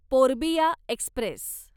Purbiya Express